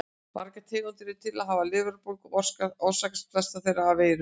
Margar tegundir eru til af lifrarbólgum og orsakast flestar þeirra af veirum.